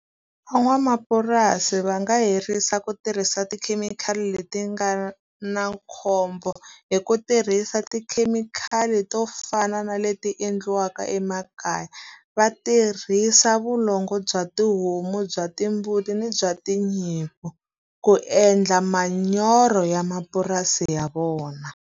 Van'wamapurasi va nga herisa ku tirhisa tikhemikhali leti nga na khombo hi ku tirhisa tikhemikhali to fana na leti endliwaka emakaya. Va tirhisa vulongo bya tihomu, bya timbuti, ni bya tinyimpfu ku endla manyoro ya mapurasi ya vona.